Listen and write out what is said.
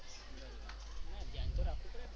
હા ધ્યાન તો રાખવું પડે ને.